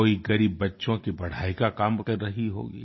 कोई गरीब बच्चों की पढाई का काम कर रही होंगी